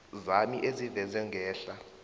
zami ezivezwe ngehla